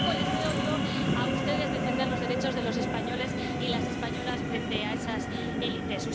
Pero poco les veo yo a ustedes defender los derechos de los españoles y las españolas frente a esas élites.